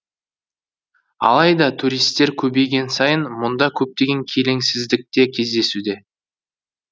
алайда туристер көбейген сайын мұнда көптеген келеңсіздік те кездесуде